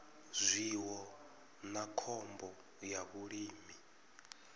zwiwo na khombo ya vhulimi